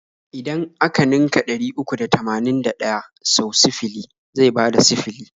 Idan a ka ninka ɗari uku da tamanin da ɗaya sau sifili zai bada sifili.